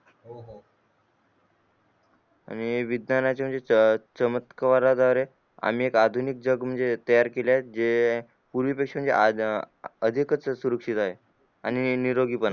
आणि विज्ञानाच्या चमत्कारा द्वारे आम्ही एक आधुनिक जग म्हणजे तयार केले जे पूर्वी पेक्षा हि आज अधिकच सुरु केलं आहे आणि निरोगी पण